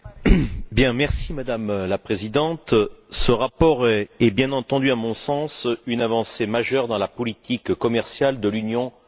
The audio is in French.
Madame la Présidente, ce rapport est bien entendu, à mon sens, une avancée majeure dans la politique commerciale de l'Union européenne.